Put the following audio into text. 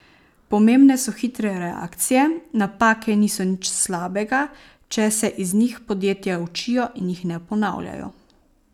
Pomembne so hitre reakcije, napake niso nič slabega, če se iz njih podjetja učijo in jih ne ponavljajo.